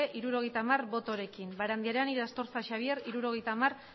hirurogeita hamar botorekin barandiaran irastorza xabier hirurogeita hamar